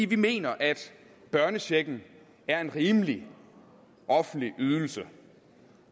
vi mener at børnechecken er en rimelig offentlig ydelse